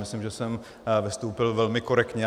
Myslím, že jsem vystoupil velmi korektně.